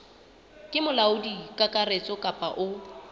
ke molaodi kakaretso kapa o